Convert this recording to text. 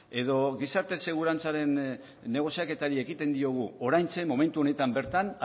edo gizarte segurantzaren negoziaketari ekiten diogu oraintxe momentu honetan bertan